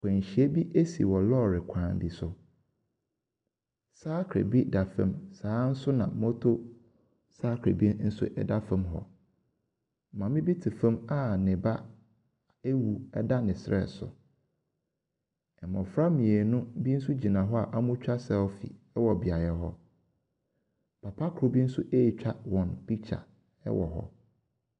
Kwanhyia bi ɛsi wɔ lɔri kwan bi so. Cycle bi da fam, saa nso na motor cycle bi nso ɛda fam hɔ. Maame bi te fam a ne ba ɛwu ɛda ne serɛ so . Mmɔfra mmienu bi nso gyina hɔ a ɔretwa selfie ɛwɔ beaeɛ hɔ. Papa koro bi nso etwa wɔn picture ɛwɔ hɔ.